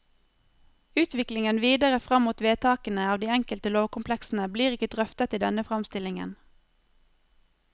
Utviklingen videre fram mot vedtakene av de enkelte lovkompleksene blir ikke drøftet i denne framstillingen.